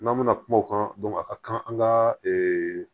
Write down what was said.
N'an bɛna kuma o kan a ka kan an ka